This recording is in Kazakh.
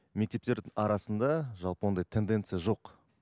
мектептер арасында жалпы ондай тенденция жоқ